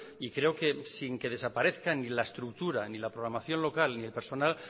y creo que sin que desaparezcan ni la estructura ni la programación local ni el personal